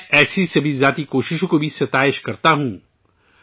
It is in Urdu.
میں، ایسی تمام ذاتی کوششوں کی بھی تعریف کرتا ہوں